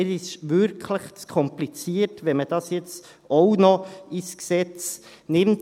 Es ist wirklich zu kompliziert, wenn man dies jetzt auch noch ins Gesetz aufnimmt.